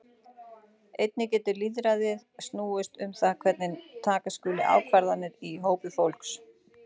Einnig getur lýðræði snúist um það hvernig taka skuli ákvarðanir í hópi fólks.